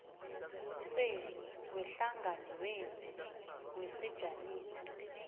senu wehlanganwenu wesijamiso